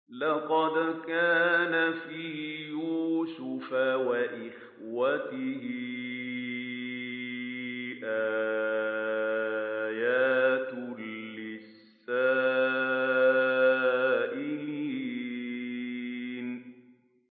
۞ لَّقَدْ كَانَ فِي يُوسُفَ وَإِخْوَتِهِ آيَاتٌ لِّلسَّائِلِينَ